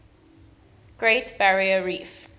great barrier reef